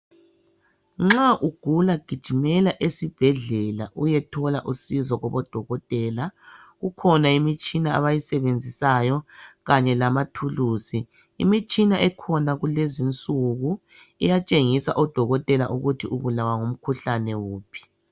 Nxa ugula gijimela esibhedlela uyethola usizo kubo dokotela kukhona imitshina abayisebenzisayo kanye lamathuluzi imitshina ekhona kulezinsuku iyatshengisa odokotela ukuthi ubulawa ngumkhuhlane uphi.